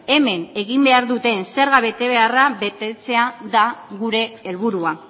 hemen egin behar duten zerga betebeharra betetzea da gure helburua